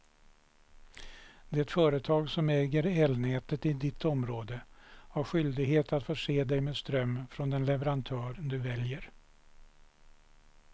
Det företag som äger elnätet i ditt område har skyldighet att förse dig med ström från den leverantör du väljer.